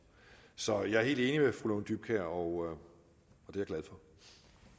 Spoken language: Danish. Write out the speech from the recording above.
så jeg er helt enig med fru lone dybkjær og det